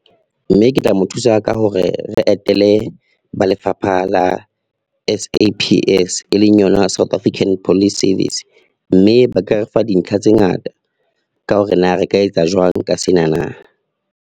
Mme ke tla mo thusa ka hore re etele ba lefapha la S_A_P_S e leng yona South African Police Service, mme ba ka re fa dintlha tse ngata ka hore na re ka etsa jwang ka sena na.